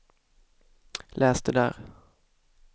läs det där